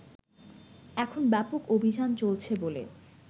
এখন ব্যাপক অভিযান চলছে বলে